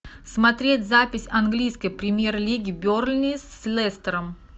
смотреть запись английской премьер лиги бернли с лестером